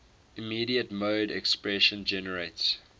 immediate mode expression generates